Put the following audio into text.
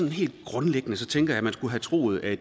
helt grundlæggende tænker jeg at man skulle have troet at